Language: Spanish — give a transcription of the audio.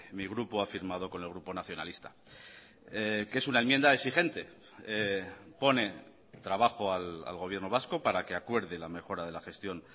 mi grupo ha firmado con el grupo nacionalista que es una enmienda exigente pone trabajo al gobierno vasco para que acuerde la mejora de la gestión